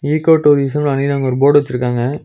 Ego tourism அப்டின்னு அங்கொரு board வச்சிருக்காங்க.